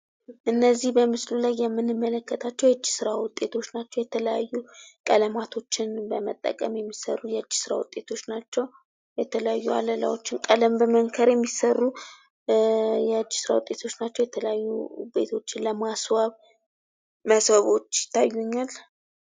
እነዚህ በምስሉ ላይ የምንመለከታቸው የእጅ ስራ ውጤቶች ናቸው። የተለያዩ ቀለማትን በመጠቀም የሚሰሩ የእጅ ስራ ውጤቶች ናቸው። የተለያዩ አለላዎችን በመንከር የሚሰሩ የተለያዩ የእጅ ስራ ውጤቶች ናቸው። የተለያዩ ቤቶች ለማስዋብ ሞሰቦች ይታየኛል።